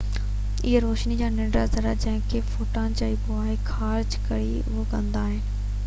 اهي روشني جي ننڍڙا ذرا جنهن کي فوٽان چئبو آهي خارج ڪري اهو ڪندا آهن